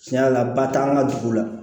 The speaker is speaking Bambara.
Tiɲɛ yɛrɛ la ba t'an ka dugu la